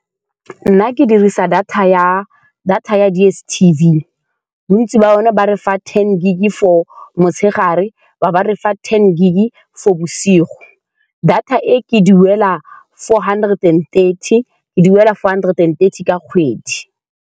Nna, ke dirisa data ya, data ya DSTV. Bontsi ba yone ba re fa ten gig for motshegare, ba bo ba re fa ten gig for bosigo. Data e ke e duela four hundred and thirty, ke duela four hundred and thirty ka kgwedi.